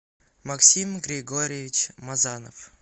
максим григорьевич мазанов